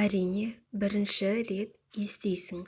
әрине бірінші рет естисің